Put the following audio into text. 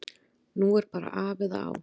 Nú er bara af eða á.